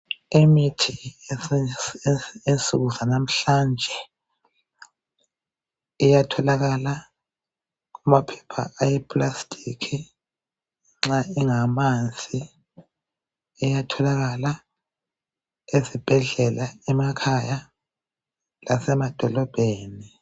Imithi yensuku zanamhlanje, iyatholakala kumaphepha eplastic. Nxa ingamanzi. Iyatholakala ezibhedlela, emakhaya, lasemadolobheni.